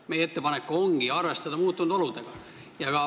Meie ettepanek ongi arvestada muutunud oludega.